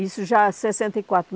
Isso já em sessenta e quatro.